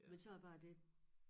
Men så er bare det